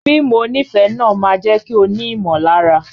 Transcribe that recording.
Fíìmù onífẹ̀ẹ́ náà máa jẹ́ kí o ní ìmọ̀lára.